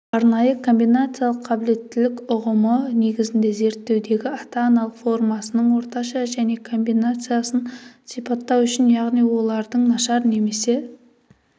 арнайы комбинациялық қабілеттілік ұғымы негізінде зерттеудегі ата-аналық формасының орташа жеке комбинациясын сипаттау үшін яғни олардың нашар немесе